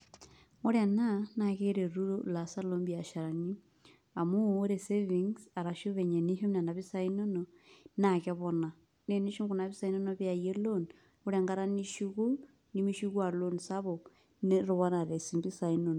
Wore ena, naa keretu ilaasak loombiasharani, amu wore savings arashu venye enishum niana pisai inonok, naa kepona. Naa tenishum kuna pisai inonok pee iyayie loan, wore enkata nishuku, nimishuku aa loan sapuk, netoponate sii impisai inonok.